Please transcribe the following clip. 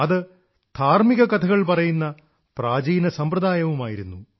അത് ധാർമ്മിക കഥകൾ പറയുന്ന പ്രാചീന സമ്പ്രദായവുമായിരുന്നു